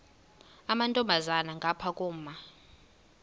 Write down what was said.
amantombazana ngapha koma